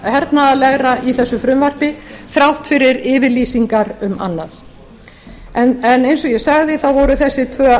hernaðarlegra í þessu frumvarpi þrátt fyrir yfirlýsingar um annað en eins og ég sagði voru þessi